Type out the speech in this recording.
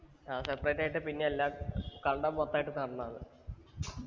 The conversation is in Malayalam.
ആ separate ആയിട്ട് പിന്നെയല്ലാം കണ്ടം മൊത്തായിട്ട് നടണം അത്